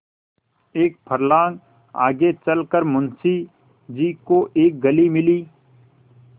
एक फर्लांग आगे चल कर मुंशी जी को एक गली मिली